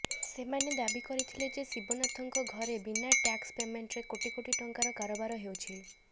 ସେମାନେ ଦାବି କରିଥିଲେ ଯେ ଶିବନାଥଙ୍କ ଘରେ ବିନା ଟ୍ୟାକ୍ସ ପେମେଣ୍ଟରେ କୋଟି କୋଟି ଟଙ୍କାର କାରବାର ହେଉଛି